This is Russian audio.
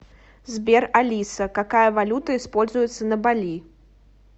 сбер алиса какая валюта используется на бали